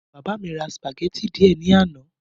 Bàbá mí ra spaghetti díè ní àná